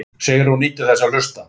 Sigrún nýtur þess að hlusta.